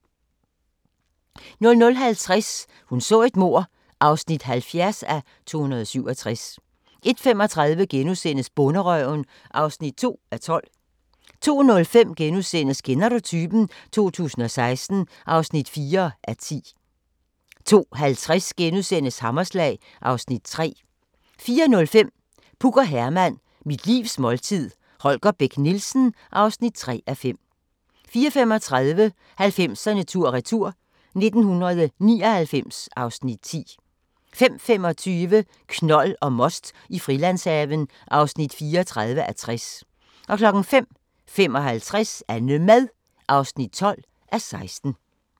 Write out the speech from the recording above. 00:50: Hun så et mord (70:267) 01:35: Bonderøven (2:12)* 02:05: Kender du typen? 2016 (4:10)* 02:50: Hammerslag (Afs. 3)* 04:05: Puk og Herman – mit livs måltid – Holger Bech Nielsen (3:5) 04:35: 90'erne tur-retur: 1999 (Afs. 10) 05:25: Knold og most i Frilandshaven (34:60) 05:55: Annemad (12:16)